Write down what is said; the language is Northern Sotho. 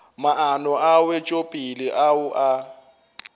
maano a wetšopele ao a